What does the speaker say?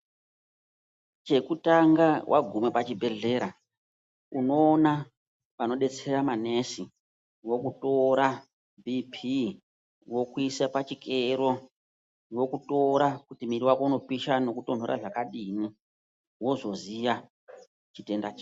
Chekutanga waguma pachibhedlera, unoona vanobetsera manesi, vokutora bp,vokuisa pachikero .Vokutora kuti muuiri wako unopisha nokutonhora zvakadini, wozoziya chitenda chako.